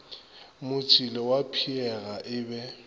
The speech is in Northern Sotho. motšila wa pheega e be